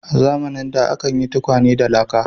A zamanin da akan yin tukwane da laka.